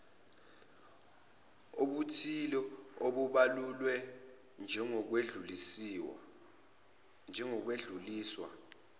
obuthile obubalulwe njengokwedluliswa